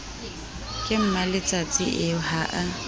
ke mmaletsatsi eo ha a